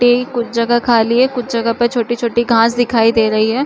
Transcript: कुछ जगह खाली है कुछ जगह पे छोटी- छोटी घास दिखाई दे रही है।